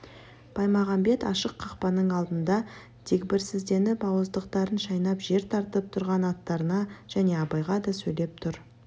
баймағамбет ашық қақпаның алдында дегбірсізденіп ауыздықтарын шайнап жер тартып тұрған аттарына және абайға да сөйлеп тұр